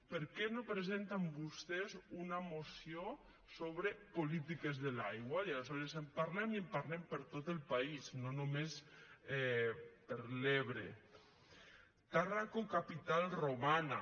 per què no presenten vostès una moció sobre polítiques de l’aigua i aleshores en parlem i en parlem per a tot el país no només per a l’ebre tàrraco capital romana